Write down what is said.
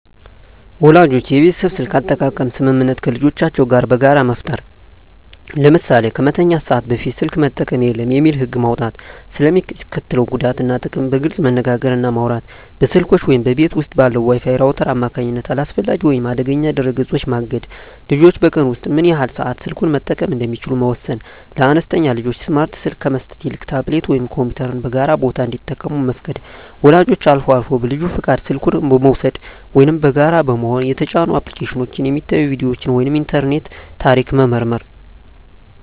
ወላጆች የቤተሰብ የስልክ አጠቃቀም ስምምነት ከልጆቻቸው ጋር በጋራ መፍጠር። ለምሳሌ "ከመተኛት ሰዓት በፊት ስልክ መጠቀም የለም" የሚል ህግ መውጣት። ስለ ሚስከትለው ጉዳት እና ጥቅም በግልፅ መነጋገር እና ማውራት። በስልኮች ወይም በቤት ውስጥ ባለው የWi-Fi ራውተር አማካኝነት አላስፈላጊ ወይም አደገኛ ድረ-ገጾችን ማገድ። ልጆች በቀን ውስጥ ምን ያህል ሰዓት ስልኩን መጠቀም እንደሚችሉ መወሰን። ለአነስተኛ ልጆች ስማርት ስልክ ከመስጠት ይልቅ ታብሌት ወይም ኮምፒውተርን በጋራ ቦታ እንዲጠቀሙ መፍቀድ። ወላጆች አልፎ አልፎ በልጁ ፈቃድ ስልኩን በመውሰድ (ወይም በጋራ በመሆን) የተጫኑ አፕሊኬሽኖች፣ የሚታዩ ቪዲዮዎች ወይም የኢንተርኔት ታሪክ መመርመር።